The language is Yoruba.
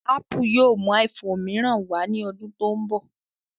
Ápù yóò mú iphone mìíràn wá ní ọdún tó ń bọ̀